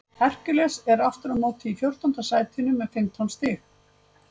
Hercules er aftur á móti í fjórtánda sætinu með fimmtán stig.